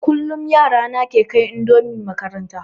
Kullum yara na ke kai indomi makaranta